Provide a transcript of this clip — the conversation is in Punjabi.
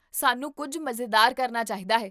ਸਾਨੂੰ ਕੁੱਝ ਮਜ਼ੇਦਾਰ ਕਰਨਾ ਚਾਹੀਦਾ ਹੈ